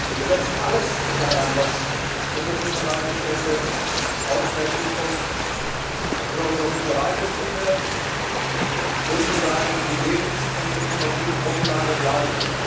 Wir setzen alles daran, dass unsere Fischereibestände auch in der Zukunft für unsere Fischereibetriebe sozusagen die Lebens und Ökonomiegrundlage bleiben.